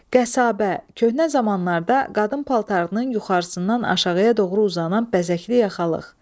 Qəsəbə, köhnə zamanlarda qadın paltarının yuxarısından aşağıya doğru uzanan bəzəkli yaxalıq.